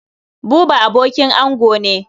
Buba abokin ango ne.